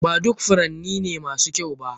Ba duk furanni ne masu kyau ba.